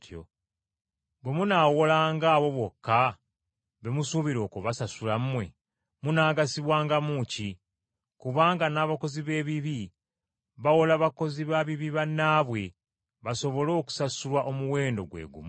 Bwe munaawolanga abo bokka be musuubira okubasasula mmwe, munaagasibwangamu ki? Kubanga n’abakozi b’ebibi bawola bakozi ba bibi bannaabwe, basobole okusasulwa omuwendo gwe gumu.